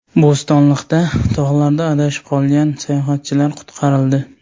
Bo‘stonliqda tog‘larda adashib qolgan sayyohatchilar qutqarildi.